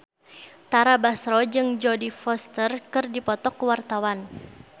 Tara Basro jeung Jodie Foster keur dipoto ku wartawan